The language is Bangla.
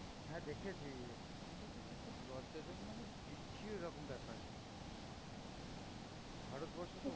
হ্যাঁ দেখেছি, কিন্তু একটা খুব লজ্জা জনক মানে, বিচ্ছিরি রকম ব্যাপার. ভারতবর্ষে